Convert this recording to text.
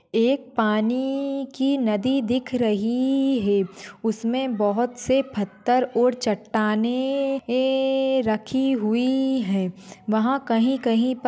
एक पानी की नदी दिख रही है उसमे बहुत से पत्थर और चट्टानें ए रखी हुई है। वहा कही कही पर--